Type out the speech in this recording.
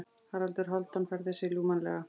Haraldur Hálfdán færði sig ljúfmannlega.